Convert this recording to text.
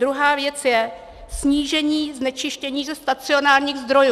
Druhá věc je snížení znečištění ze stacionárních zdrojů.